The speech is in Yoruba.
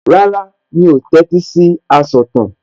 Rárá, mi ò tẹ́tí sí asọ̀tàn